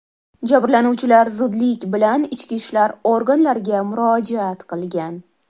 Jabrlanuvchilar zudlik bilan ichki ishlar organlariga murojaat qilgan.